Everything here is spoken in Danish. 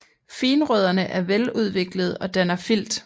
Finrødderne er veludviklede og danner filt